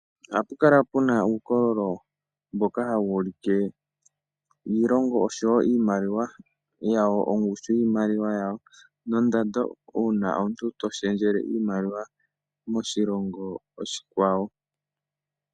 Ohapu kala puna uukololo mboka hawu ulike iilonga oshowo ongushu yiimaliwa yawo nondando uuna omuntu toshendjele iimaliwa moshilongo oshikwawo.